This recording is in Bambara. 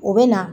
U bɛ na